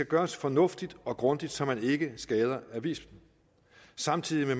gøres fornuftigt og grundigt så man ikke skader aviserne samtidig med